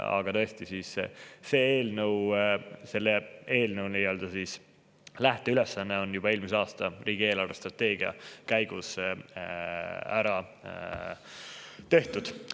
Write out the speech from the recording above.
Aga tõesti, selle eelnõu lähteülesanne sai juba eelmise aasta riigi eelarvestrateegiaga.